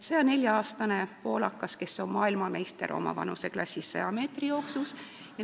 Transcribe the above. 104-aastane poolakas, kes on oma vanuseklassis 100 meetri jooksu maailmameister.